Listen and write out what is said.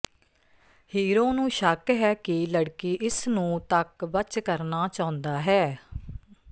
hero ਨੂੰ ਸ਼ੱਕ ਹੈ ਕਿ ਲੜਕੀ ਇਸ ਨੂੰ ਤੱਕ ਬਚ ਕਰਨਾ ਚਾਹੁੰਦਾ ਹੈ